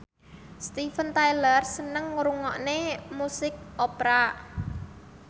Steven Tyler seneng ngrungokne musik opera